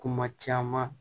Kuma caman